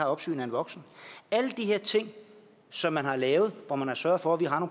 opsyn af en voksen alle de her ting som man har lavet hvor man har sørget for at vi har